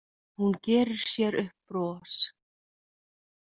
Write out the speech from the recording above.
Hún gerir sér upp bros.